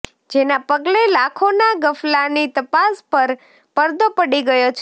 જેના પગલે લાખોના ગફલાની તપાસ પર પરદો પડી ગયો છે